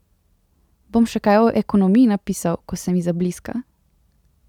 Bom še kaj o ekonomiji napisal, ko se mi zabliska.